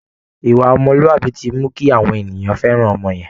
Ìwà ọmọlúàbí ti mú kí àwọn ènìyàn fẹ́ràn ọmọ yẹn